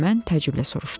deyə mən təəccüblə soruşdum.